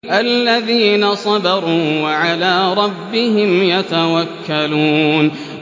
الَّذِينَ صَبَرُوا وَعَلَىٰ رَبِّهِمْ يَتَوَكَّلُونَ